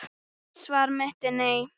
Mitt svar er nei.